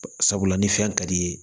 Sabula ni fɛn ka di ye